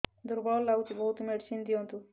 ଦୁର୍ବଳ ଲାଗୁଚି ବହୁତ ମେଡିସିନ ଦିଅନ୍ତୁ